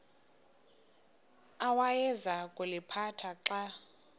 awayeza kuliphatha xa